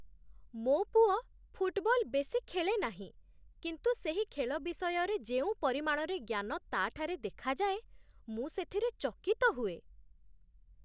ମୋ ପୁଅ ଫୁଟବଲ ବେଶୀ ଖେଳେ ନାହିଁ, କିନ୍ତୁ ସେହି ଖେଳ ବିଷୟରେ ଯେଉଁ ପରିମାଣରେ ଜ୍ଞାନ ତା'ଠାରେ ଦେଖାଯାଏ, ମୁଁ ସେଥିରେ ଚକିତ ହୁଏ।